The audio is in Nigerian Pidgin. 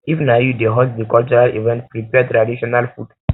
if na you dey host di cultural event prepare traditional food